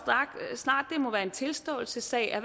snart at det må være en tilståelsessag at